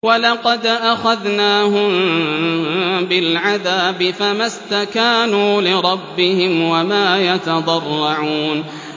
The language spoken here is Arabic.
وَلَقَدْ أَخَذْنَاهُم بِالْعَذَابِ فَمَا اسْتَكَانُوا لِرَبِّهِمْ وَمَا يَتَضَرَّعُونَ